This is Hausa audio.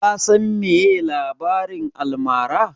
Ka san meye labarin almara?